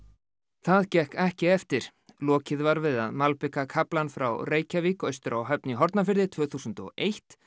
það gekk ekki eftir lokið var við að malbika kaflann frá Reykjavík austur á Höfn í Hornafirði tvö þúsund og eitt